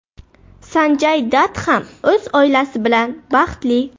Sanjay Dat ham o‘z oilasi bilan baxtli.